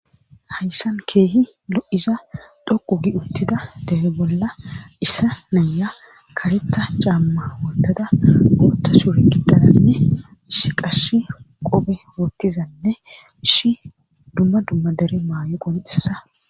Hayshan keehi lo7iza dhoqu gi uttida dehe bolla issa naya kareta caamma woltada oota suri kidaanne ishi qash qophe woottizanne ishi dumma dumma dere maa7e qon dhissa.